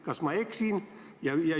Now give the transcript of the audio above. Kas ma eksin?